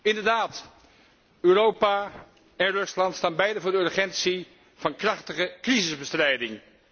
Inderdaad, Europa en Rusland staan beide voor de urgentie van krachtige crisisbestrijding.